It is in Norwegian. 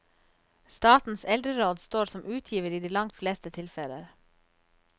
Statens eldreråd står som utgiver i de langt fleste tilfeller.